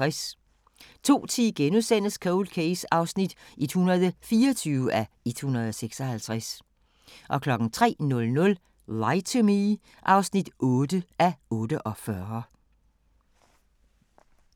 02:10: Cold Case (124:156)* 03:00: Lie to Me (8:48)